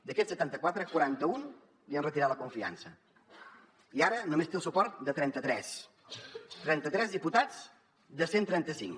d’aquests setanta quatre quaranta un li han retirat la confiança i ara només té el suport de trenta tres trenta tres diputats de cent i trenta cinc